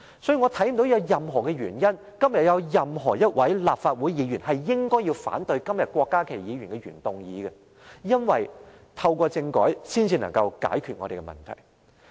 因此，我看不見有任何原因，今天有任何一位立法會議員應該反對郭家麒議員的原議案，因為，透過政改，才能解決問題。